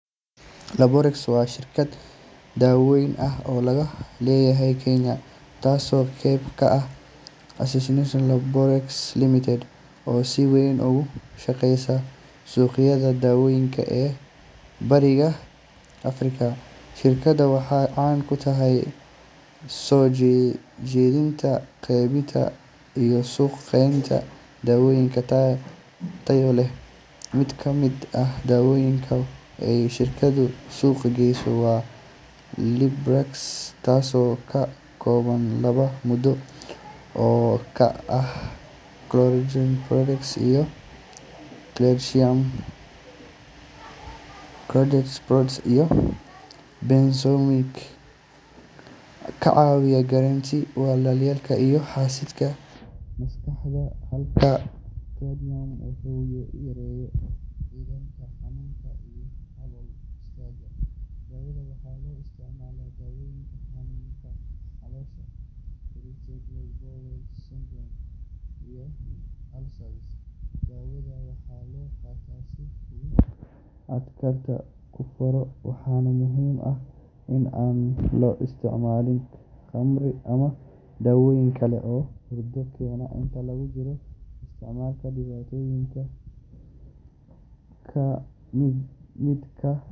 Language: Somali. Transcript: Laborex waa shirkad dawooyin ah oo laga leeyahay Kenya, taasoo qayb ka ah Assene-Laborex Limited, oo si weyn uga shaqeysa suuqyada dawooyinka ee Bariga Afrika. Shirkaddan waxay caan ku tahay soo dejinta, qaybinta, iyo suuq-geynta dawooyin tayo leh. Mid ka mid ah dawooyinka ay shirkaddu suuq geyso waa Librax, taasoo ka kooban laba maaddo oo kala ah chlordiazepoxide iyo clidinium. Chlordiazepoxide waa benzodiazepine ka caawiya yareynta welwelka iyo xasilinta maskaxda, halka clidinium uu yareeyo xiidma xanuunka iyo calool istaagga. Dawadan waxaa loo isticmaalaa daaweynta xanuunada caloosha sida irritable bowel syndrome iyo ulcers. Dawadan waxaa la qaataa sida uu dhakhtarku kuu faro, waxaana muhiim ah in aan la isticmaalin khamri ama dawooyin kale oo hurdo keena inta lagu jiro isticmaalka. Dhibaatooyinka ka imaan kara waxaa ka mid ah.